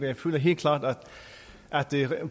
jeg føler helt klart at